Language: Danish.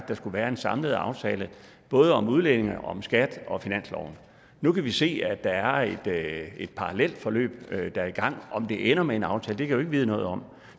der skal være en samlet aftale både om udlændinge om skat og om finansloven nu kan vi se at der er et parallelt forløb der er i gang om det ender med en aftale kan jeg vide noget om